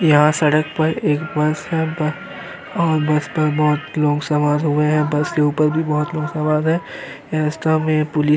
यहां सड़क पर एक बस है बस और बस पर बहोत लोग सवार हुए हैं। बस के ऊपर भी बहोत सवार है। रस्ता में पुलिस --